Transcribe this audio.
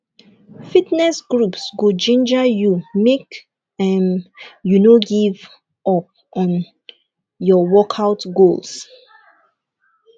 fitness groups go ginger you make um you no give um up on your on your workout goals